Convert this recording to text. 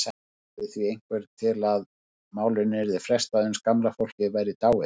Lagði því einhver til að málinu yrði frestað uns gamla fólkið væri dáið.